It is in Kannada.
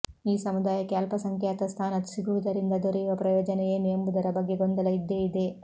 ಈ ಸಮುದಾಯಕ್ಕೆ ಅಲ್ಪಸಂಖ್ಯಾತ ಸ್ಥಾನ ಸಿಗುವುದರಿಂದ ದೊರೆಯುವ ಪ್ರಯೋಜನ ಏನು ಎಂಬುದರ ಬಗ್ಗೆ ಗೊಂದಲ ಇದ್ದೇ ಇದೆ